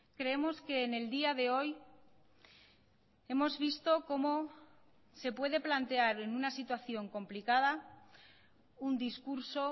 creemos que en el día de hoy hemos visto cómo se puede plantear en una situación complicada un discurso